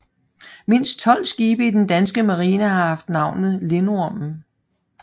Mindst 12 skibe i den danske Marine har haft navnet Lindormen